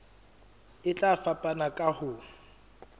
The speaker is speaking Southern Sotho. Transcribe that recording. e tla fapana ka ho